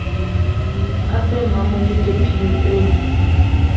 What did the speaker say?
a fe mmamolete phiyo e